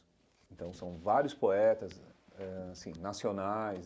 Então, são vários poetas eh assim nacionais.